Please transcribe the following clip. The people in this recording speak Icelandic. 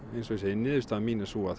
eins og ég segi niðurstaða mín er sú að